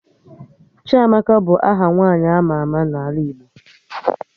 Chiamaka bụ aha nwaanyị ama ama n'ala Igbo